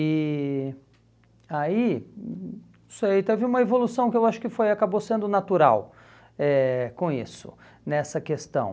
E aí, hum hum não sei, teve uma evolução que eu acho foi acabou sendo natural eh com isso, nessa questão.